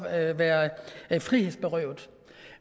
at være frihedsberøvet